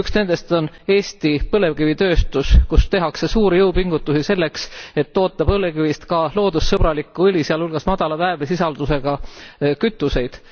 Üks nendest on Eesti põlevkivitööstus, kus tehakse suuri jõupingutusi selleks, et toota põlevkivist ka loodussõbralikku õli, sealhulgas madala väävlisisaldusega kütuseid.